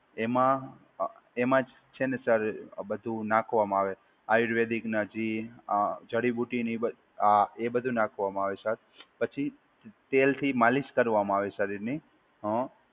એમાં એમાં જ છે ને સર બધું નાખવામાં આવે. આયુર્વેદિક ના જે અ જડીબુટ્ટીની એ આ એ બધું નાખવામાં આવે સર. પછી તેલથી માલિશ કરવામાં આવે સર એની. હા.